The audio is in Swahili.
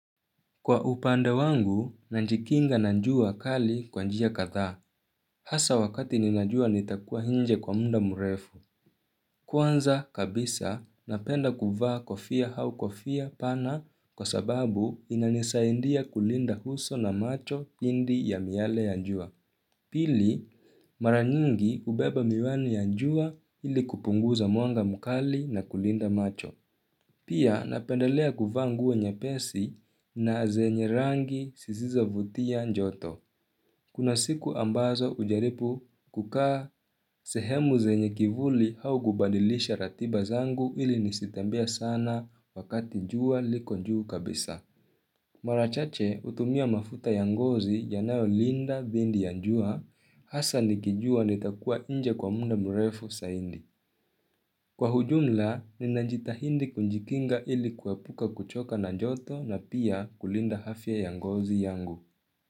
Kwa upande wangu, nanjikinga na njua kali kwa njia kadhaa. Hasa wakati ninajua nitakua hinje kwa munda murefu. Kwanza kabisa, napenda kuvaa kofia hau kofia pana kwa sababu inanisaindia kulinda huso na macho dindi ya miale ya njua. Pili, mara nyingi ubeba miwani ya jua ili kupunguza mwanga mkali na kulinda macho. Pia napendelea kuvaa nguo nyepesi na zenye rangi sisizovutia njoto. Kuna siku ambazo ujaripu kukaa sehemu zenye kivuli au gubadilisha ratiba zangu ili nisitembee sana wakati njua liko njuu kabisa. Maravchache utumia mafuta ya ngozi yanayolinda dhindi ya njua hasa nikijua nitakua inje kwa munda mrefu saindi. Kwa hujumla, ninajitahindi kunjikinga ili kuwapuka kuchoka na njoto na pia kulinda hafya ya ngozi yangu.